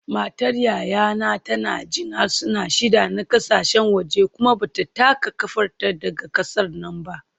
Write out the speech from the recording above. Matar yayana tana jin harsuna shida na kasashen waje kuma ba ta taka kafarta daga kasar nan ba